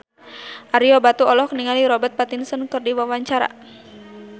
Ario Batu olohok ningali Robert Pattinson keur diwawancara